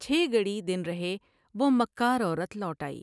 چھ گھڑی دن رہے وہ مکارعورت لوٹ آئی ۔